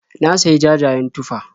Na sayi jajayen tufah.